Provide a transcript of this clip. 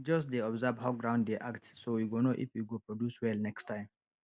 just dey observe how ground dey act so you go know if e go produce well next time